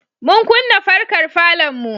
Mun kunna farkar falonmu.